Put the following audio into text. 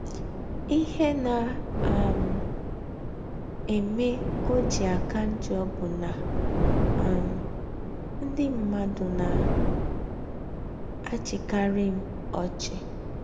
Ihe na um - eme ọ ji aka njọ bụ na um ndị mmadụ na - achịkarị m ọchị.